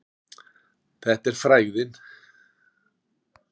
Þetta er frægðin.